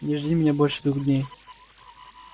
не жди меня больше двух дней